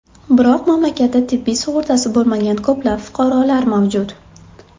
Biroq mamlakatda tibbiy sug‘urtasi bo‘lmagan ko‘plab fuqarolar mavjud.